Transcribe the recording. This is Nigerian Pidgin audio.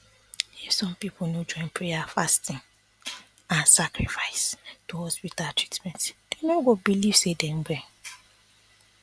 if some people no join prayer fasting and sacrifice to hospital treatment dem no go believe say dem well